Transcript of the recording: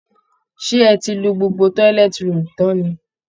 Ṣé ẹ ti lo gbogbo toilet roll tán ni?